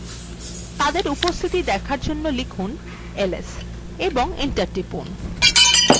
তাদের উপস্থিতি দেখার জন্য লিখুন ls এবং enter টিপুন